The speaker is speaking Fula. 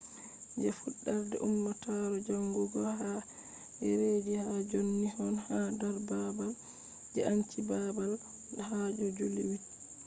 je fudarde ummatore jangugo hado dereji hado john nixon ha dar babal je enchi babal hado july 8